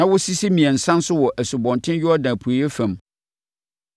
na wɔsisi mmiɛnsa nso wɔ Asubɔnten Yordan apueeɛ fam.